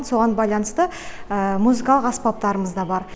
соған байланысты музыкалық аспаптарымыз да бар